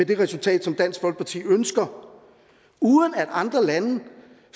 det resultat som dansk folkeparti ønsker uden at andre lande